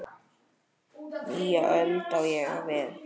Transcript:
Nýja öld, á ég við.